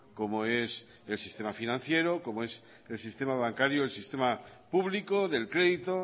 como es el sistema financiero como es el sistema bancario el sistema público del crédito